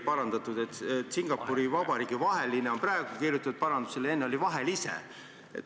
Praegu on kirjutatud "Singapuri Vabariigi vaheline", enne oli "vahelise".